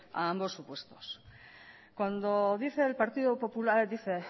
ambos supuestos cuando dice el partido popular dice